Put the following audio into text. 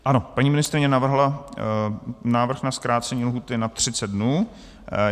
Ano, paní ministryně uvedla návrh na zkrácení lhůty na 30 dnů.